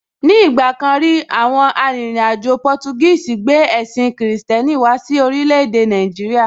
Ní ìgbà kan rí, àwọn arìnrìn-àjò Portuguese gbé ẹ̀sìn kìrìsìtẹ́nì wá sí orílẹ̀ èdè Nàìjíríà.